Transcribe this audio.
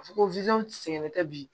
Fɔ ko sɛgɛn tɛ bi